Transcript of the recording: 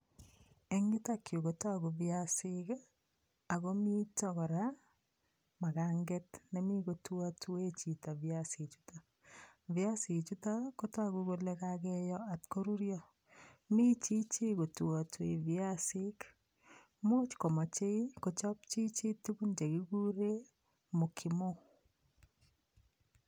Eng yutokyu kotogu viasik, ako mito kora maganget nemi kotuatue chito viasichutok. Viasichutok kotogu kole kakeyo atkoruryo. Michichi kotuatui viasik, much komochei kochop chichi tukun chekigure mokimo.